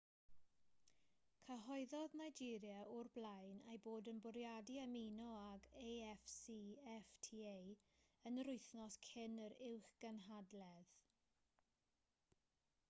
cyhoeddodd nigeria o'r blaen ei bod yn bwriadu ymuno ag afcfta yn yr wythnos cyn yr uwchgynhadledd